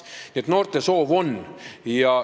Nii et noortel soovi on.